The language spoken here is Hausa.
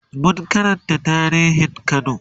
mun Karanta tarihin kano